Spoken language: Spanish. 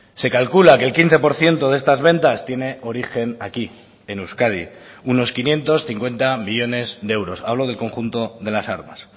se calcula que el quince por ciento de estas ventas tiene origen aquí en euskadi unos quinientos cincuenta millónes de euros hablo del conjunto de las armas